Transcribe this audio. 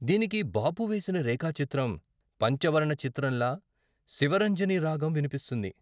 దీనికి బాపు వేసిన రేఖాచిత్రం పంచవర్ణచిత్రంలా శివరంజనిరాగం వినిపిస్తుంది.